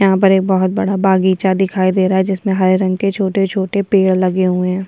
यहां पर एक बहुत बड़ा बागीचा दिखाई दे रहा है जिसमे हरे रंग के छोटे-छोटे पेड़ लगे हुए हैं।